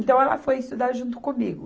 Então, ela foi estudar junto comigo.